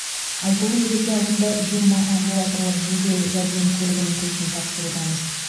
айтулы мереке алдында жиырма амбулаторлық жедел жәрдем көлігінің кілтін тапсырудамыз